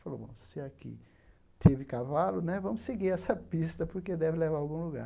Falou, se aqui teve cavalo, né, vamos seguir essa pista, porque deve levar a algum lugar.